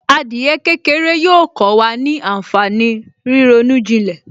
Adìyẹ kékeré yóò kó wa ní ànfàní ríronú ìjìnlẹ̀